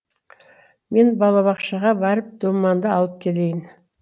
мен балабақшаға барып думанды алып келейін